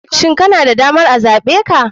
Shin kana da damar a zaɓe ka?